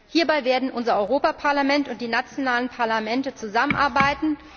Hierbei werden unser Europaparlament und die nationalen Parlamente zusammenarbeiten.